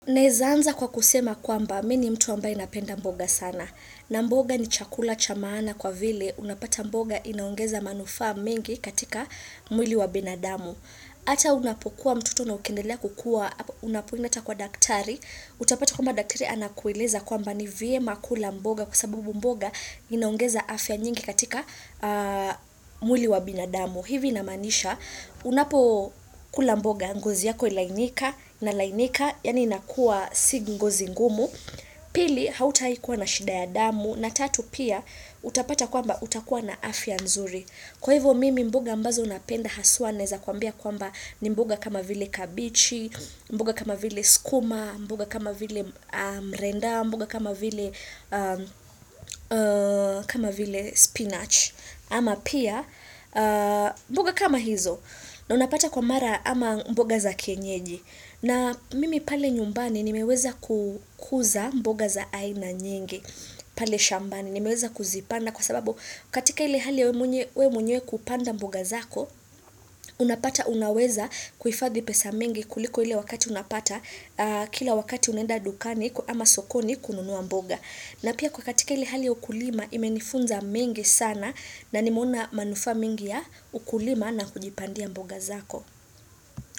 Naezaanza kwa kusema kwamba, mimi ni mtu ambaye napenda mboga sana. Na mboga ni chakula cha maana kwa vile, unapata mboga inaongeza manufaa mengi katika mwili wa binadamu. Ata unapokuwa mtoto na ukendelea kukua, unapoenda ata kwa daktari, utapata kwamba daktari anakueleza kwamba ni vyema kula mboga kwa sababu mboga inaongeza afya nyingi katika mwili wa binadamu. Hivi inamaanisha, unapokula mboga ngozi yako hulainika inalainika, yani inakua si ngozi ngumu. Pili, hauta ikuwa na shida ya damu. Na tatu pia, utapata kwamba utakuwa na afia nzuri. Kwa hivyo mimi mboga ambazo napenda haswa naeza kwambia kwamba ni mboga kama vile kabichi, mboga kama vile sukuma, mboga kama vile mrenda, mboga kama vile spinach. Ama pia mboga kama hizo na unapata kwa mara ama mboga za kienyeji na mimi pale nyumbani nimeweza kukuza mboga za aina nyingi pale shambani nimeweza kuzipanda kwa sababu katika ile hali wewe mwenyewe kupanda mboga zako unapata unaweza kuhifadhi pesa mingi kuliko ili wakati unapata kila wakati unaenda dukani ama sokoni kununua mboga. Na pia kwa katika ile hali ukulima imenifunza mengi sana na nimeona manufaa mengi ya ukulima na kujipandia mboga zako.